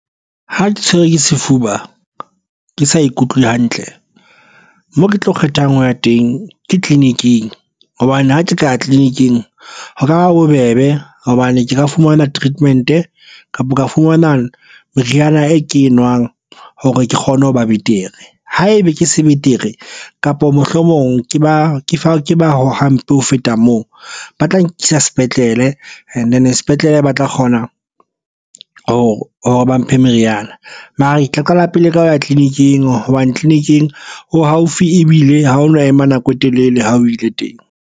Ha ke tshwerwe ke sefuba ke sa ikutlwe hantle mo ke tlo kgethang ho ya teng ke tleliniking hobane ha ke ka ya tleliniki ho ka ba bobebe hobane ke ka fumana treatment kapa ka fumana meriana e ke enwang hore ke kgone ho ba betere ha ebe ke se betere kapa mohlomong ke ba fa ke ba hampe ho feta moo ba tla nkisa sepetlele and sepetlele ba tla kgona ho hore ba mphe meriana. Mara e tla qala pele ka ho ya tleliniking hobane tleleniking o haufi ebile ha o no ema nako e telele ha o ile teng.